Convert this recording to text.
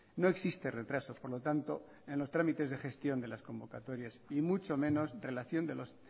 no existe retraso por lo tanto en los trámites de gestión de las convocatorias y